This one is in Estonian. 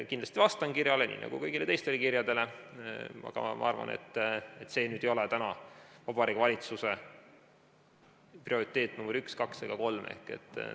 Kindlasti vastan kirjale nii nagu kõigile teistele kirjadele, aga ma arvan, et see ei ole täna Vabariigi Valitsuse prioriteet nr 1, 2 ega 3.